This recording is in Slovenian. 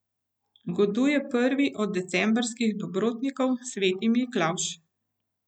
Goduje prvi od decembrskih dobrotnikov, sveti Miklavž.